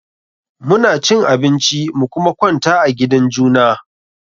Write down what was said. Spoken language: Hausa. Mu na cin abinci mu kuma kwanta a gidan juna.